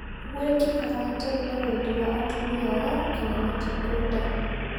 Gwĩkĩkaga hatari na wendi wa atumia aya kana matĩkwenda